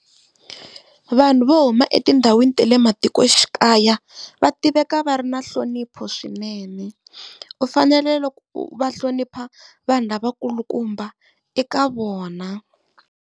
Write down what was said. Vanhu vo huma etindhawini ta le matikoxikaya va tiveka va ri na nhlonipho swinene, u fanele loko va hlonipha vanhu lavakulukumba eka vona.